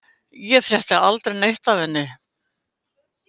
Ég frétti aldrei neitt af henni.